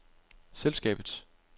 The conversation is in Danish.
selskabets